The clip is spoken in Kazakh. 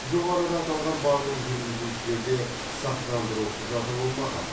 жоғарыда аталған барлық жүргізушілерде сақтандыру құжаты болмаған